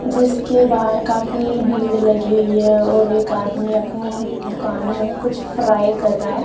जिसके बाहर काफी भीड़ लगी हुई है और एक आदमी अपनी दुकान मे कुछ फ्राई कर रहा है।